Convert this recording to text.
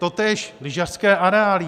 Totéž lyžařské areály.